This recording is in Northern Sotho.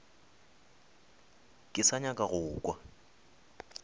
ke sa nyaka go kwa